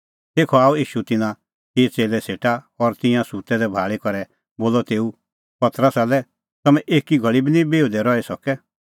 तेखअ आअ ईशू तिन्नां चिई च़ेल्लै सेटा और तिंयां सुत्तै दै भाल़ी करै बोलअ तेऊ पतरसा लै तम्हैं एकी घल़ी बी निं बिहुदै रही सकै